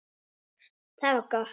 Það var gott